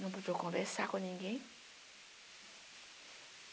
Não podia conversar com ninguém.